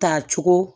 Ta cogo